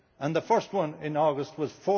The first one in August was